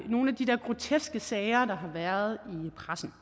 nogle af de der groteske sager der har været i pressen